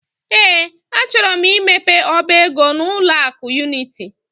Ee, achọrọ m imepe ọba ego n'ụlọ akụ Unity.